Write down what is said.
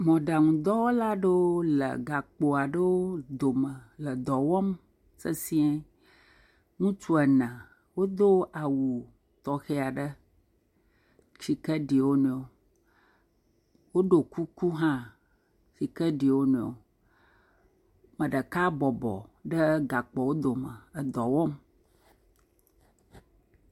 Mɔɖaŋudɔwɔla aɖewo le gakpo aɖewo ɖome le dɔ wɔm sesiẽ. Ŋutsu ene wodo awu tɔxɛ aɖeshi ke ɖi wo nɔewo, woɖo kuku hã shi ke ɖi wo nɔewo. Me ɖeka bɔbɔ ɖe gakpowo dome edɔ wɔm.